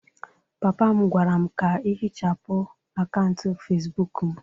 papa m gwara m ka ihichapụ akaụntụ Facibụkụ m